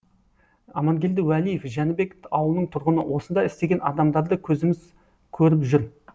амангелді уәлиев жәнібек ауылының тұрғыны осында істеген адамдарды көзіміз көріп жүр